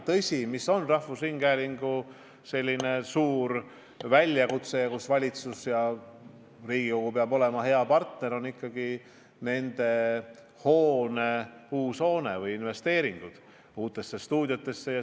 Tõsi, rahvusringhäälingu ees seisab suur väljakutse, mille puhul valitsus ja Riigikogu peavad olema tema head partnerid: see on uue hoone ehitus ja investeeringud uutesse stuudiotesse.